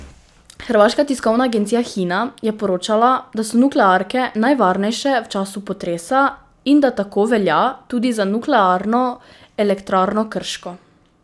Hrvaška tiskovna agencija Hina je poročala, da so nuklearke najvarnejše v času potresa in da tako velja tudi za Nuklearno elektrarno Krško.